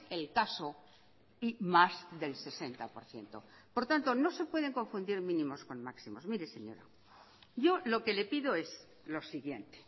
el caso y más del sesenta por ciento por tanto no se pueden confundir mínimos con máximos mire señora yo lo que le pido es lo siguiente